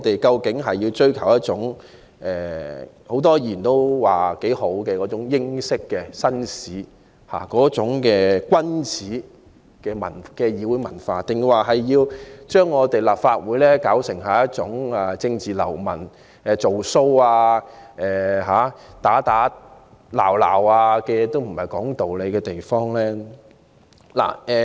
究竟我們追求的是眾多議員也欣賞的英式紳士、君子的議會文化，還是要將立法會變為容納政治流氓、"做騷"、打打鬧鬧和無須說道理的地方？